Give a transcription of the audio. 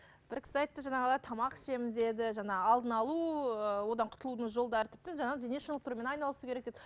бір кісі айтты жаңағыда тамақ ішемін деді жаңағы алдын алу ы одан құтылудың жолдары тіпті жаңағы дене шынықтырумен айналысу керек деді